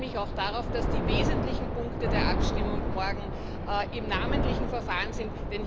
Ich freue mich auch darauf, dass die wesentlichen Punkte der Abstimmung morgen im namentlichen Verfahren sind.